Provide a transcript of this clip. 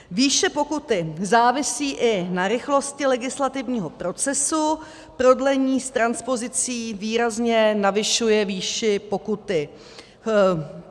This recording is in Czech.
Výše pokuty závisí i na rychlosti legislativního procesu, prodlení s transpozicí výrazně navyšuje výši pokuty.